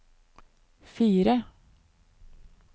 fire